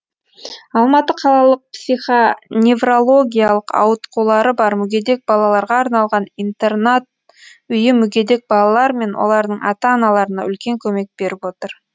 алматы қалалық психоневрологиялық ауытқулары бар мүгедек балаларға арналған интернат үйі мүгедек балалар мен олардың ата аналарына үлкен көмек беріп отыр